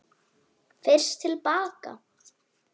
FYRST TIL BAKA.